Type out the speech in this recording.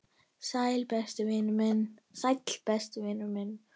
Sæll, besti vinur minn.